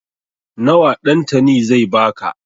Nawa Ɗantani zai ba ka?